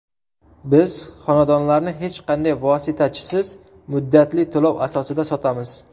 Biz xonadonlarni hech qanday vositachisiz muddatli to‘lov asosida sotamiz.